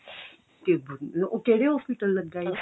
ਤੇ ਉਹ ਕਿਹੜੇ hospital ਲੱਗਾ ਉਹ